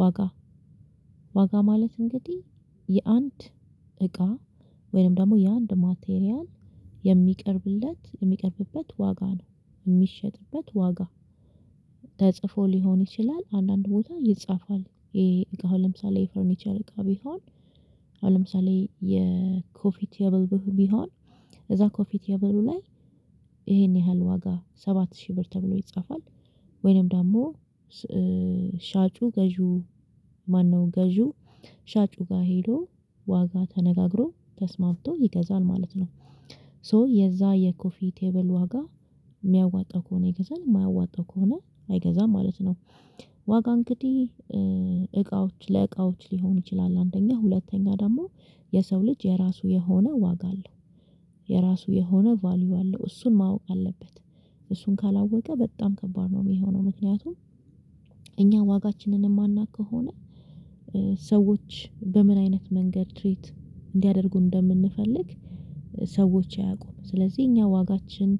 ዋጋ ዋጋ ማለት እንግዲህ የአንድ እቃ ወይም ደግሞ የአንድ ማቴሪያል የሚቀርብለት የሚቀርብበት ዋጋ ነው የሚሸጥበት ዋጋ። ተጽፎ ሊሆን ይችላል አንዳንድ ቦታ ይጻፋል ይሄ እቃው ለምሳሌ የፈርኒቸር እቃ ቢሆን አሁን ለምሳሌ የኮፊ ቴብል ቢሆን እዛ ኮፊ ቴብሉ ላይ ይሄን ያህል ዋጋ ሰባት ሺህ ብር ተብሎ ይጻፋል ወይንም ደግሞ ሻጩ ገዢው ማነው ገዢው ሻጩ ጋር ሄዶ ዋጋ ተነጋግሮ ተስማምቶ ይገዛል ማለት ነው። ሶ የዛ የኮፊ ቴብል ዋጋ የሚያዋጣ ከሆነ ይገዛል የማያዋጣው ከሆነ አይገዛም ማለት ነው። ዋጋ እንግዲህ እቃዎች ለእቃዎች ሊሆን ይችላል አንደኛ ሁለተኛ ደግሞ የሰው ልጅ የራሱ የሆነ ዋጋ አለው። የራሱ የሆነ ቫልዩ አለው እሱን ማወቅ አለበት እሱን ካላወቀ በጣም ከባድ ነው የሚሆነው። ምክንያቱም እኛ ዋጋችንን የማናውቅ ከሆነ ሰዎች በምን አይነት መንገድ ትሪት እንዲያደርጉን እንደምንፈልግ ሰዎች አያውቁም ስለዚህ እኛ ዋጋችን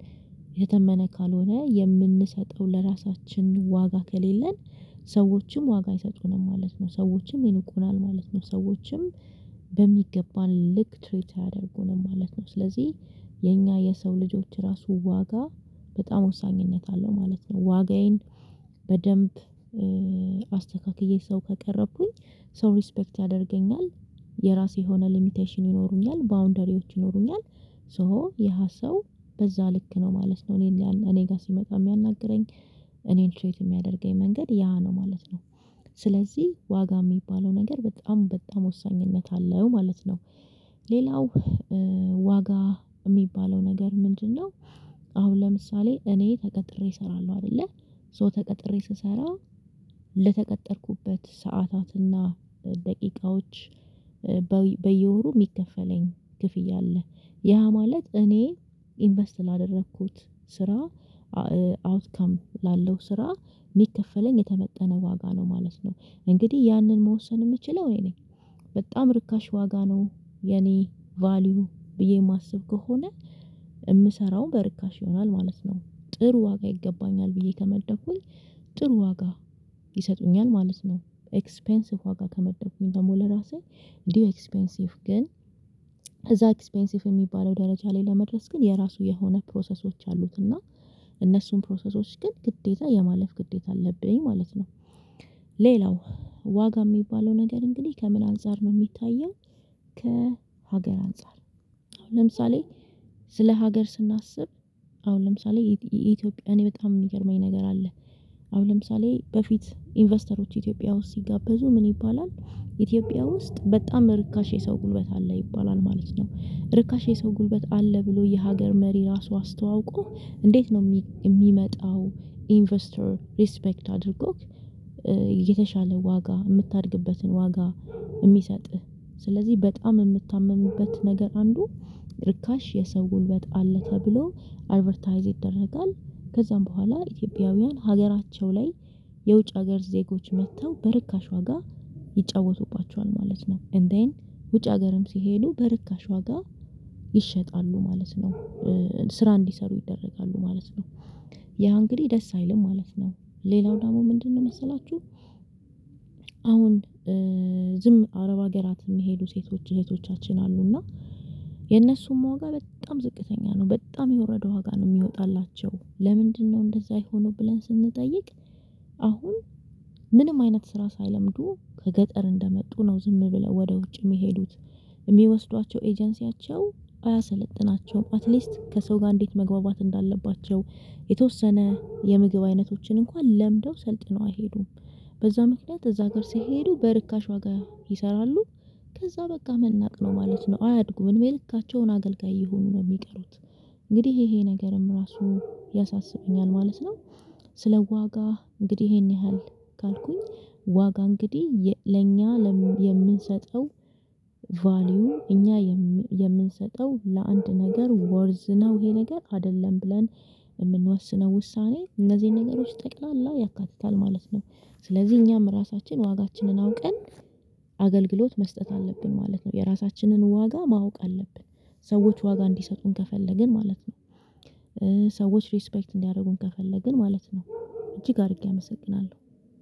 የተተመነ ካልሆነ የምንሰጠው ለራሳችን ዋጋ ከሌለን። ሰዎችም ዋጋ አይሰጡንም ማለት ነው ሰዎችም ይንቁናል ማለት ነው ሰዎችም በሚገባን ልክ ትሪት አያደርጉንም ማለት ነው ስለዚህ የኛ የሰው ልጆች ራሱ ዋጋ በጣም ወሳኝነት አለው ማለት ነው። ዋጋዬን በደንብ አስተካክዬ ሰው ከቀረብኩኝ ሰው ሪስፔክት ያደርገኛል የራሴ የሆነ ሊሚቴሽን ይኖሩኛል ባውንደሪዎች ይኖሩኛል ሶ ያ ሰው በዛ ልክ ነው ማለት ነው እኔን እኔ ጋር ሲመጣ የሚያናግረኝ እኔን ትሪት የሚያደርገኝ መንገድ ያ ነው ማለት ነው። ስለዚህ ዋጋ የሚባለው ነገር በጣም በጣም ወሳኝነት አለው ማለት ነው። ሌላው ዋጋ የሚባለው ነገር ምንድነው? አሁን ለምሳሌ እኔ ተቀጥሬ እሰራለሁ አይደለ ሶ ተቀጥሬ ስሰራ ለተቀጠርኩበት ሰዓታትና ደቂቃዎች በየወሩ የሚከፈለኝ ክፍያ አለ ያ ማለት እኔ ኢንቨስት ላደረኩት ስራ አውትካም ላለው ስራ የሚከፈለኝ የተመጠነ ዋጋ ነው ማለት ነው። እንግዲህ ያንን መወሰን የምችለው እኔ ነኝ በጣም ርካሽ ዋጋ ነው የኔ ቫልዩ ብዬ የማስብ ከሆነ የምሰራው በርካሽ ይሆናል ማለት ነው ጥሩ ዋጋ ይገባኛል ብዬ ከመደብኩኝ ጥሩ ዋጋ ይሰጡኛል ማለት ነው። ኤክስፔንሲቭ ዋጋ ከመደብኩኝ ደግሞ ለራሴ እንዲሁ ኤክስፔንሲቭ ግን እዛ ኤክስፔንሲቭ የሚባለው ደረጃ ላይ ለመድረስ ግን የራሱ የሆነ ፕሮሰሶች አሉት እና እነሱን ፕሮሰሶች ግን ግዴታ የማለፍ ግዴታ አለብኝ ማለት ነው። ሌላው ዋጋ የሚባለው ነገር እንግዲህ ከምን አንፃር ነው የሚታየው? ከሀገር አንፃር አሁን ለምሳሌ ስለ ሀገር ስናስብ አሁን ለምሳሌ ኢትዮጵያ እኔ በጣም የሚገርመኝ ነገር አለ። አሁን ለምሳሌ በፊት ኢንቨስተሮች ኢትዮጵያ ውስጥ ሲጋበዙ ምን ይባላል ኢትዮጵያ ውስጥ በጣም ርካሽ የሰው ጉልበት አለ ይባላል ማለት ነው ርካሽ የሰው ጉልበት አለ ብሎ የሀገር መሪ ራሱ አስተዋውቆ እንዴት ነው የሚመጣው ኢንቨስተር ሪስፔክት አድርጎህ። የተሻለ ዋጋ የምታድግበትን ዋጋ የሚሰጥህ ስለዚህ በጣም የምታመምበት ነገር አንዱ ርካሽ የሰው ጉልበት አለ ተብሎ አድቨርታይዝ ይደረጋል ከዛ በኋላ ኢትዮጵያውያን ሀገራቸው ላይ የውጭ ሀገር ዜጎች መጥተው በርካሽ ዋጋ ይጫወቱባቸዋል ማለት ነው። ኤንድዜን ውጭ ሀገርም ሲሄዱ በርካሽ ዋጋ ይሸጣሉ ማለት ነው። ስራ እንዲሰሩ ይደረጋሉ ማለት ነው ያ እንግዲህ ደስ አይልም ማለት ነው። ሌላው ደግሞ ምንድነው መሰላችሁ? አሁን ዝም አረብ ሀገራት የሚሄዱ ሴቶች እህቶቻችን አሉ እና የእነሱም ዋጋ በጣም ዝቅተኛ ነው በጣም የወረደ ዋጋ ነው የሚወጣላቸው ለምንድነው እንደዛ የሆነው ብለን ስንጠይቅ አሁን ምንም አይነት ስራ ሳይለምዱ ከገጠር እንደመጡ ነው ዝም ብለው ወደ ውጭ የሚሄዱት። የሚወስዷቸው ኤጀንሲያቸው አያሰለጥናቸውም አትሊስት ከሰው ጋር እንዴት መግባባት እንዳለባቸው የተወሰነ የምግብ አይነቶችን እንኳን ለምደው ሰልጥነው አይሄዱም በዛ ምክንያት እዛ ሀገር ሲሄዱ በርካሽ ዋጋ ይሰራሉ ከዛ በቃ መናቅ ነው ማለት ነው አያድጉም እድሜልካቸውን አገልጋይ እየሆኑ ነው የሚቀሩት። እንግዲህ ይሄ ነገርም ራሱ ያሳስበኛል ማለት ነው። ስለ ዋጋ እንግዲህ ይሄን ያህል ካልኩኝ ዋጋ እንግዲህ ለእኛ ለምን የምንሰጠው? ቫልዩ እኛ የምንሰጠው ለአንድ ነገር ወርዝ ነው ይሄ ነገር አይደለም ብለን የምንወስነው ውሳኔ እነዚህን ነገሮች ጠቅላላ ያካትታል ማለት ነው። ስለዚህ እኛም ራሳችን ዋጋችንን አውቀን አገልግሎት መስጠት አለብን ማለት ነው። የራሳችንን ዋጋ ማወቅ አለብን ሰዎች ዋጋ እንዲሰጡን ከፈለግን ማለት ነው። ሰዎች ሪስፔክት እንዲያደርጉን ከፈለግን ማለት ነው እጅግ አድርጌ አመሰግናለሁ።